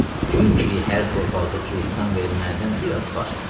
Çünki hər torpaqda cuhuddan və ermənidən biraz var.